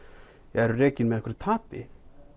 eru rekin með einhverju tapi